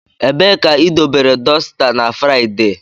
Ebee ka idobere dosita na Fraịde?